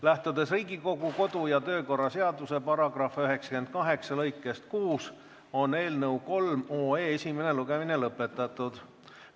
Lähtudes Riigikogu kodu- ja töökorra seaduse § 98 lõikest 6, on eelnõu 3 esimene lugemine lõpetatud.